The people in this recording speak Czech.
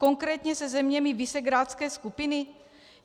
Konkrétně se zeměmi visegrádské skupiny?